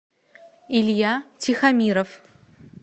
илья тихомиров